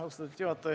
Austatud juhataja!